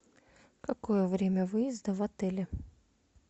какое время выезда в отеле